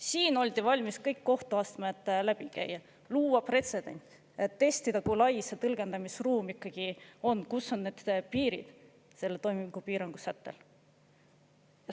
Siin oldi valmis kõik kohtuastmed läbi käima, looma pretsedenti, et testida, kui lai see tõlgendamisruum ikkagi on, kus on need piirid sellel toimingupiirangu sättel.